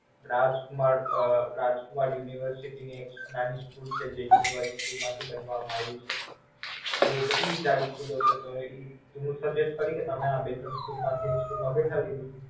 રાજકુમાર અમ રાજકુમાર University ની એક નાની School છે University માંથી જ બનાવામાં આવી છે તો કેટલી સારી School છે તો હું તમને Suggest કરું કે આ બે ત્રણ School માંથી એક School માં બેસાડી દો.